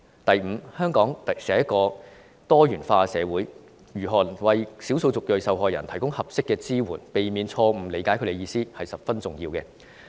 第五，香港是多元化的社會，如何為少數族裔受害人提供合適的支援，避免誤解他們的意思十分重要。